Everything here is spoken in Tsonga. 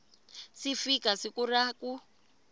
si fika siku ra ku